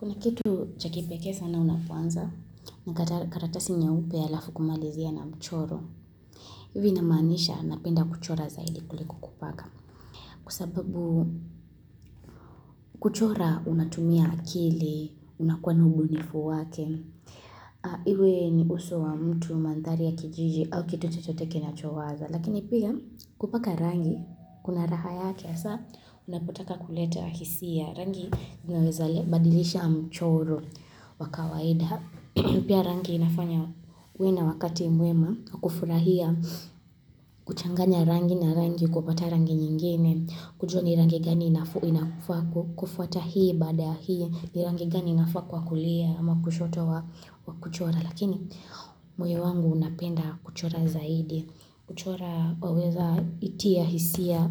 Kuna kitu chakipekee sana unapuanza na karatasi nyeupe ya lafu kumalizia na mchoro. Ivi namanisha napenda kuchora zaidi kuliku kupaka. Kwa sababu kuchora unatumia akili, unakuwa ubunifu wake. Iwe ni uso wa mtu, mantari ya kijiji au kitu chochote kinachowaza. Lakini pia kupaka rangi, kuna raha yake hasa unapotaka kuleta hisia. Rangi ninaweza badilisha mchoro wa kawaida. Pia rangi inafanya wena wakati muema, kufurahia, kuchanganya rangi na rangi, kubata rangi nyingine, kujua ni rangi gani inafuwa kufuata hii bada hii, ni rangi gani inafuwa kwa kulia, ama kushoto wa kuchora. Lakini moyo wangu unapenda kuchora zaidi kuchora waweza itia hisia